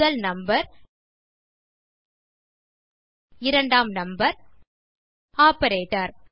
முதல் நம்பர் இரண்டாம் number operator